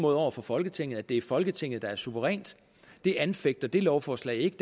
over for folketinget og at det er folketinget der er suverænt det anfægter det lovforslag ikke